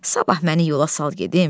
Sabah məni yola sal gedim.